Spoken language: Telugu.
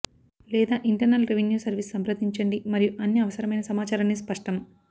లేదా ఇంటర్నల్ రెవిన్యూ సర్వీస్ సంప్రదించండి మరియు అన్ని అవసరమైన సమాచారాన్ని స్పష్టం